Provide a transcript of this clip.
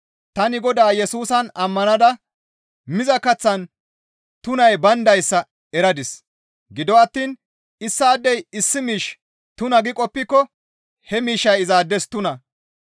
Tani Godaa Yesusan ammanada miza kaththan tunay bayndayssa eradis; gido attiin issaadey issi miish tuna gi qoppiko he miishshay izaades tuna.